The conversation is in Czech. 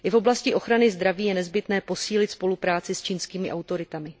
I v oblasti ochrany zdraví je nezbytné posílit spolupráci s čínskými autoritami.